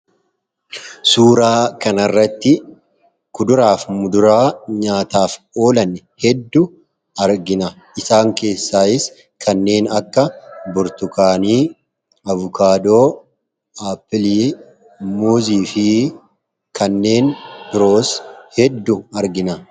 Suuraa kana irratti kuduraa fi muduraa nyaataaf oolan hedduu argina. Isaan keessaayis kanneen akka burtukaanii, abukaadoo, appilii, muuzii fi kanneen biroos hedduu argina.